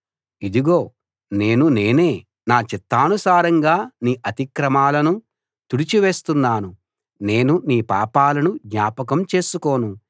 ఇదిగో నేను నేనే నా చిత్తానుసారంగా నీ అతిక్రమాలను తుడిచి వేస్తున్నాను నేను నీ పాపాలను జ్ఞాపకం చేసుకోను